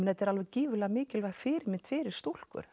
þetta er alveg gífurlega mikilvæg fyrirmynd fyrir stúlkur